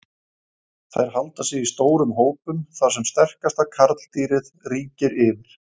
Þær halda sig í stórum hópum þar sem sterkasta karldýrið ríkir yfir.